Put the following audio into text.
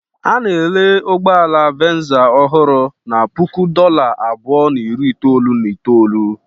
A na-ere ụgbọ ala Venza ọhụrụ na puku dollar abụọ na iri itoolu na itoolu.